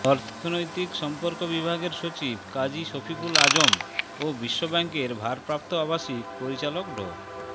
অর্থনৈতিক সম্পর্ক বিভাগের সচিব কাজী শফিকুল আযম ও বিশ্বব্যাংকের ভারপ্রাপ্ত আবাসিক পরিচালক ড